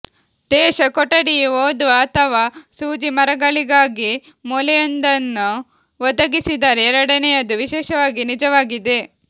ದೇಶ ಕೊಠಡಿಯು ಓದುವ ಅಥವಾ ಸೂಜಿಮರಗಳಿಗಾಗಿ ಮೂಲೆಯೊಂದನ್ನು ಒದಗಿಸಿದರೆ ಎರಡನೆಯದು ವಿಶೇಷವಾಗಿ ನಿಜವಾಗಿದೆ